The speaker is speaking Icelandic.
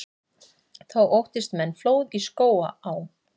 Þá óttist menn flóð í Skógaá.